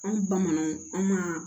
Anw bamananw an ma